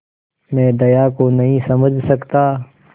मैं दया को नहीं समझ सकता